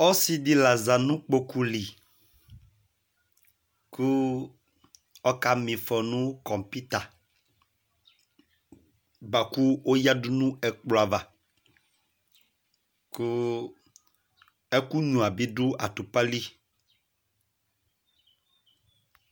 ɔsɩdɩ la zanʊ kpokʊlɩ kʊ ɔka ma ɩfɔ nʊ computa bʊakʊ oyadʊ nʊ ɛkplɔava kʊ ɛkʊnyʊa bi dʊ atʊpalɩ